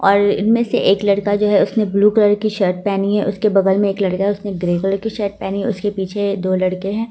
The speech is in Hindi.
और इनमें से एक लड़का जो है उसने ब्लू कलर की शर्ट पहनी है उसके बगल में एक लड़का है उसने ग्रीन कलर की शर्ट पहनी है उसके पीछे दो लड़के है।